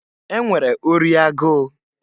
E nwere ori agụụ.